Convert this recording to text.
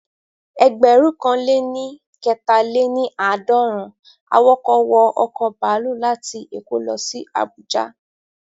Ẹgbẹ̀rún kan lé ní kẹta-lé-ní-aadorun awọkọ̀ wọ ọ̀kọ̀ baluu láti èkó lọ sí Àbújá